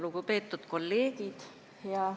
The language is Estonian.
Lugupeetud kolleegid!